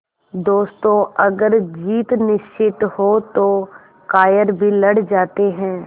दोस्तों अगर जीत निश्चित हो तो कायर भी लड़ जाते हैं